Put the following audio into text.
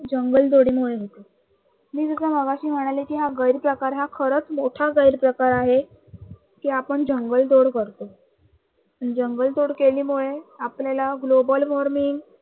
जंगल तोडीमुळे होतं. मी मगाशी म्हणाले की हा गैर प्रकार, हा खरच मोठा गैर प्रकार आहे कि आपण जंगल तोड करतो. जंगल तोड केल्यामुळे आपल्याला global warming